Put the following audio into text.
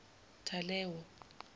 talewo